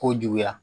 Ko juguya